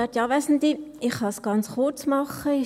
Ich kann es ganz kurz machen: